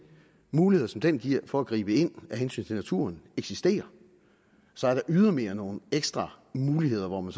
muligheder som den giver for at gribe ind af hensyn til naturen eksisterer så er der ydermere nogle ekstra muligheder hvor man